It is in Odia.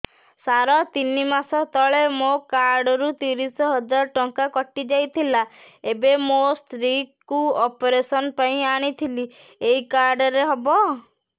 ସାର ତିନି ମାସ ତଳେ ମୋ କାର୍ଡ ରୁ ତିରିଶ ହଜାର ଟଙ୍କା କଟିଯାଇଥିଲା ଏବେ ମୋ ସ୍ତ୍ରୀ କୁ ଅପେରସନ ପାଇଁ ଆଣିଥିଲି ଏଇ କାର୍ଡ ରେ ହବ